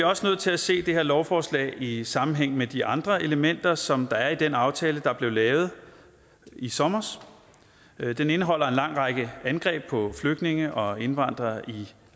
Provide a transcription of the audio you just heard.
også nødt til at se det her lovforslag i i sammenhæng med de andre elementer som der er i den aftale der blev lavet i sommer den indeholder en lang række angreb på flygtninge og indvandrere i